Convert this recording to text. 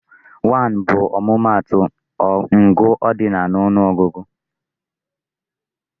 1 bụ ọmụmaatụ ngụ cardinal na ọnụ ọgụgụ.